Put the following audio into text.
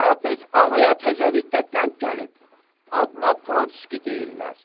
Karapet ağaya təzəlikdə qənd gəlib, adına Protski deyirlər.